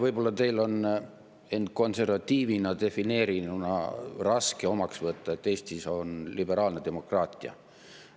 Võib-olla teil on end konservatiivina defineerinuna raske omaks võtta, et Eestis on liberaalne demokraatia.